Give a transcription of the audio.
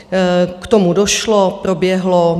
K tomu došlo, proběhlo.